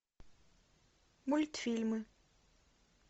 мультфильмы